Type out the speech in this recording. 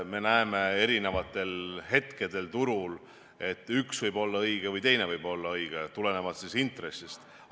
Me näeme erinevatel hetkedel turul, et üks võib olla õige või teine võib olla õige, oleneb intressist.